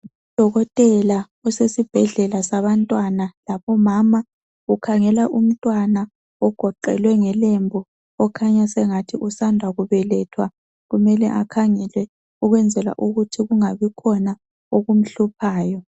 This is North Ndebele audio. Odokotela usesibhedlela sabantwana labomama. Ukhangela umntwana ogoqelwe ngelumbu . Kukhanya sengathi usanda kubelwetha. Kumele akhangelwe ukwenzela ukuthi kungabi khona okumhluphayo.